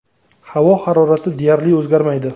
Havo harorati deyarli o‘zgarmaydi.